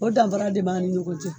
O danfara de b'a ni ɲɔgɔn cɛ.